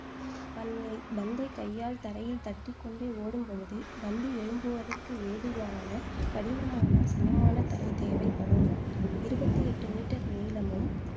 பந் பந்தை கையால் தரையில் தட்டிக் கொண்டே ஓடும் பொழுது, பந்து எழும்புவதற்கு ஏதுவான கடினமான, சமமான தரை தேவைப்படும் இருவத்தி எட்டு மீட்டர் நீளமும்,